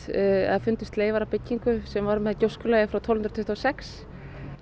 fundust leifar af byggingu sem var með frá tólf hundruð tuttugu og sex